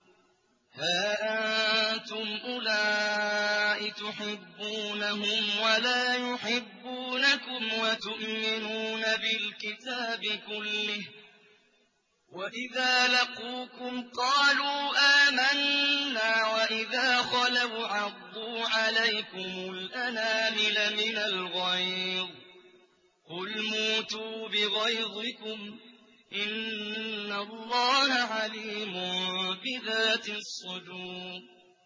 هَا أَنتُمْ أُولَاءِ تُحِبُّونَهُمْ وَلَا يُحِبُّونَكُمْ وَتُؤْمِنُونَ بِالْكِتَابِ كُلِّهِ وَإِذَا لَقُوكُمْ قَالُوا آمَنَّا وَإِذَا خَلَوْا عَضُّوا عَلَيْكُمُ الْأَنَامِلَ مِنَ الْغَيْظِ ۚ قُلْ مُوتُوا بِغَيْظِكُمْ ۗ إِنَّ اللَّهَ عَلِيمٌ بِذَاتِ الصُّدُورِ